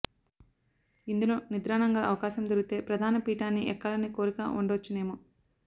ఇందులో నిద్రాణంగా అవకాశం దొరికితే ప్రధాని పీఠాన్ని ఎక్కాలని కోరికా ఉండొచ్చునేమో